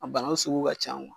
A banakun sugu ka ca